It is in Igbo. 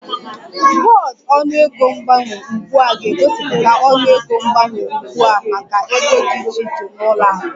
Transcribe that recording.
Bọọdụ ọnụego mgbanwe ugbu a ga-egosipụta ọnụego mgbanwe ugbu a maka ego dị iche iche na ụlọ akụ